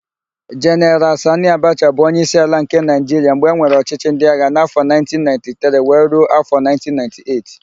Jeneral Sanị Abacha bụ onyeisi ala nke Naịjiria mgbe enwere ọchịchị ndịagha n'afọ 1993 wee ruo afọ 1998.